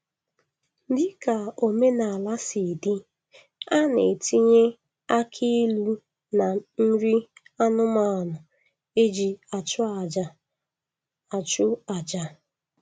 Dịka omenaala sị dị, a na-etinye akị ilu na nri anụmanụ e ji achụ aja achụ aja